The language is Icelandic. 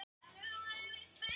Ekki liggur fyrir með tjón